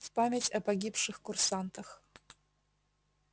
в память о погибших курсантах